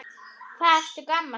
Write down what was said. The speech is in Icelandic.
Hvað ertu gamall núna?